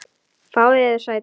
Fáið yður sæti.